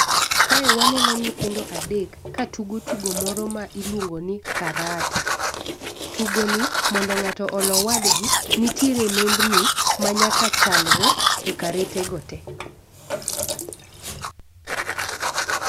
Kae waneno nyithindo adek ka tugo tugo moro miluongo ni karata. Tugo ni mondo ng'ato olo wadgi nitie nembni ma nyaka chalre e karete go te